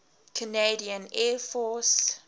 canadian air force